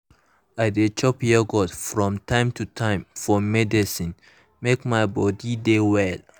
i dey chop yoghurt from time to time for medicine make my body body dey well.